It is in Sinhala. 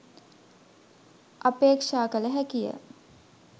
අපේක්‍ෂා කළ හැකිය